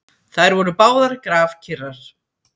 Þær voru báðar grafkyrrar.